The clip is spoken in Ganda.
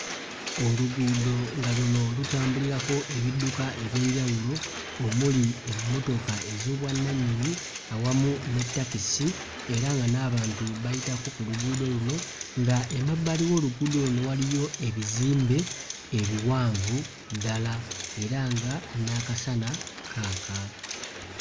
Oluguudo nga luno lutambulirako ebidduka eby'enjawulo omuli emmotoka ez'obwannanyini awamu ne takisi era nga n'abantu bayitako ku luguudo luno nga emabbali w'oluguudo luno waliyo ebizimbe ebiwanvu ddala era nga n'akasana kaaka.